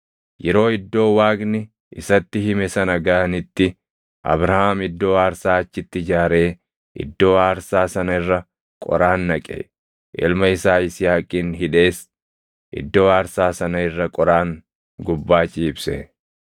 Yeroo iddoo Waaqni isatti hime sana gaʼanitti, Abrahaam iddoo aarsaa achitti ijaaree iddoo aarsaa sana irra qoraan naqe; ilma isaa Yisihaaqin hidhees iddoo aarsaa sana irra qoraan gubbaa ciibse.